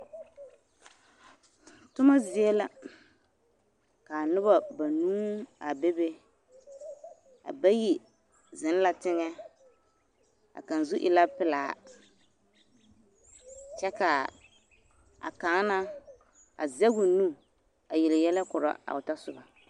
Toma zie la ka noba banuu a bebe a bayi zeŋ la teŋɛ a kaŋ zu e la pelaa kyɛ k'a kaŋa na a zɛge o nu a yele yɛlɛ korɔ a o tɔsoba na.